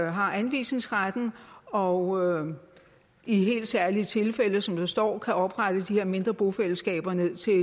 har anvisningsretten og i helt særlige tilfælde som der står kan oprette de her mindre bofællesskaber